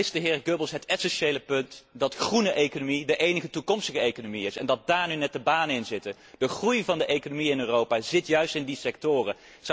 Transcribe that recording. Daar mist de heer Goebbels het essentiële punt, namelijk dat groene economie de enige toekomstige economie is en dat daar nu net de banen in zitten. De groei van de economie in Europa zit juist in die sectoren.